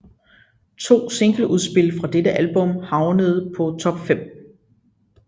To singleudspil fra dette album havnede på top 5